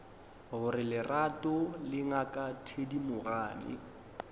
gore lerato le ngaka thedimogane